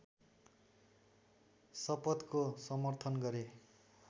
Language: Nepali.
शपथको समर्थन गरे